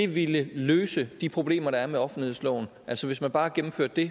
ville løse de problemer der er med offentlighedsloven altså hvis man bare gennemførte det